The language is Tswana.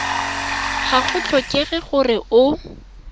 ga go tlhokege gore o